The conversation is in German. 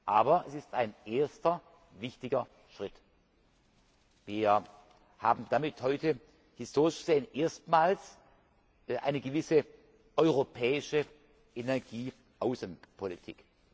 Aber es ist ein erster wichtiger Schritt. Wir haben damit heute historisch gesehen erstmals eine gewisse europäische Energieaußenpolitik.